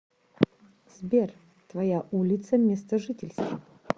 сбер твоя улица места жительства